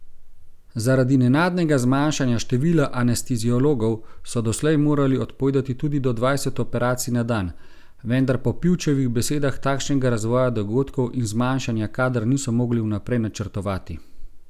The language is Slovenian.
Zaradi nenadnega zmanjšanja števila anesteziologov so doslej morali odpovedati tudi do dvajset operacij na dan, vendar po Pivčevih besedah takšnega razvoja dogodkov in zmanjšanja kadra niso mogli vnaprej načrtovati.